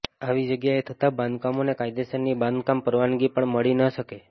આવી જગ્યાએ થતા બાંધકામોને કાયદેસરની બાંધકામ પરવાનગી પણ મળી ન શકે